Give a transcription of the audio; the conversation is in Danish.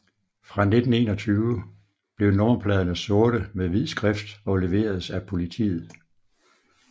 Fra 1921 blev nummerpladerne sorte med hvid skrift og leveredes af Politiet